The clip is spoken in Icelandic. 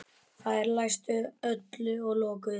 Þeir læstu öllu og lokuðu.